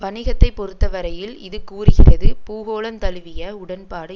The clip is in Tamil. வணிகத்தை பொறுத்த வரையில் இது கூறுகிறது பூகோளந்தழுவிய உடன்பாடு